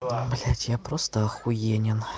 о блядь я просто ахуенен